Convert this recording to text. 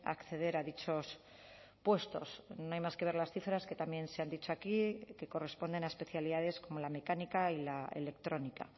acceder a dichos puestos no hay más que ver las cifras que también se han dicho aquí que corresponden a especialidades como la mecánica y la electrónica